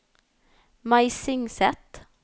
Meisingset